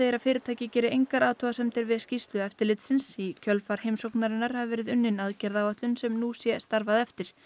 að fyrirtækið geri engar athugasemdir við skýrslu eftirlitsins í kjölfar heimsóknarinnar hafi verið unnin aðgerðaáætlun sem nú sé starfað eftir